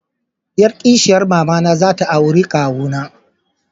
Yar kishiyan mama na za ta auri kawuna.